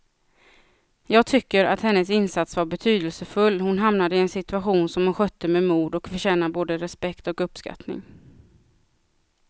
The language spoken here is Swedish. Jag tycker att hennes insats var betydelsefull, hon hamnade i en situation som hon skötte med mod och förtjänar både respekt och uppskattning.